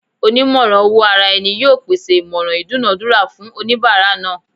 Onimoran-owo-araeni yoo pese imoran idunadura fun onibara naa